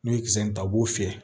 N'u ye kisɛ in ta u b'o fiyɛ